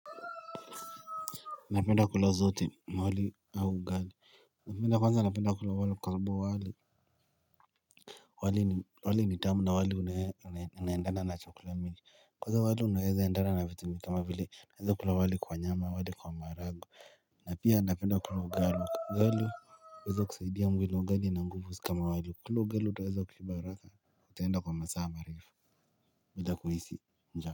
Napenda kula zote mawali au ugali, napenda kwanza napenda kulo wali kwa sababu wali wali ni tamu na wali unendana na chakula mingi, kwanza wali unaeza endana na vitu kama vile, unaeza kula wali kwa nyama, wali kwa maharagwe na pia napenda kula ugali, ugali uweza kusaidia mwili ugali una nguvu sai kama wali, ukikula ugali utaweza kushiba haraka, utaenda kwa masaa marefu, bila kuhisi njaa.